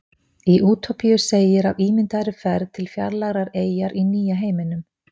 í útópíu segir af ímyndaðri ferð til fjarlægrar eyjar í nýja heiminum